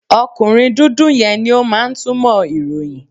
Ọkùnrin dúdú yẹn ni ó máa ń túmọ̀ ìròyìn.